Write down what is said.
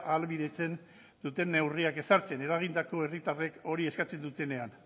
ahalbidetzen duten neurriak ezartzen eragindako herritarrek hori eskatzen dutenean